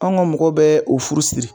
An ka mɔgɔw bɛ o furu siri